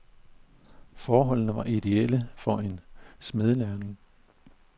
Forholdene var idéelle for en smedelærling.